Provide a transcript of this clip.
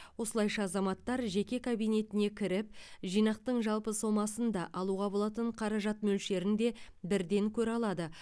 осылайша азаматтар жеке кабинетіне кіріп жинақтың жалпы сомасын да алуға болатын қаражат мөлшерін де бірден көре алады